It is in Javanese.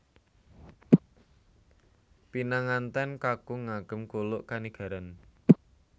Pinangantèn kakung ngagem kuluk kanigaran